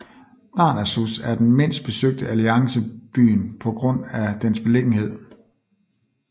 Darnassus er den mindst besøgte Alliancebyen på grund af dens beliggenhed